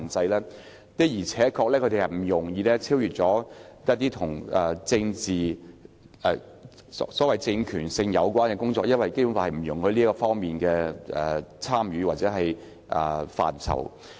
區議會的而且確不容易超越一些跟政治和所謂政權性有關的工作，因為《基本法》不容許區議會涉及這些範疇。